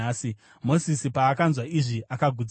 Mozisi paakanzwa izvi akagutsikana.